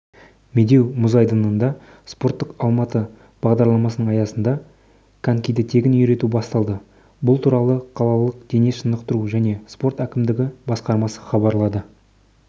медеу мұз айдынында спорттық алматы бағдарламасының аясында конькиді тегін үйрету басталды бұл туралы қалалық дене шынықтыру және спорт әкімдігі басқармасы хабарлады